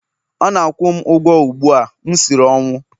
Ọ na-akwụ m ụgwọ ugbu a, m siri ọnwụ!